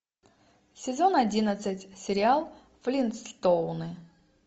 сезон одиннадцать сериал флинтстоуны